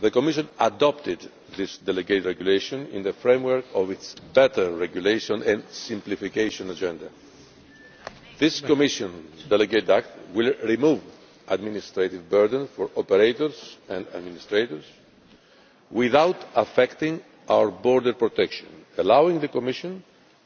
The Commission adopted this delegated regulation in the framework of its Better Regulation and simplification agenda. This Commission delegated act will remove administrative burdens for operators and administrators without affecting our border protection, allowing the Commission